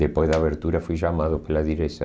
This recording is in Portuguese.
Depois da abertura fui chamado pela direção.